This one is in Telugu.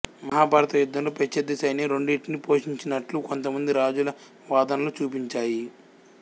మహాభారత యుద్ధంలో ప్రత్యర్థి సైన్యం రెండింటినీ పోషించినట్లు కొంతమంది రాజుల వాదనలు చూపించాయి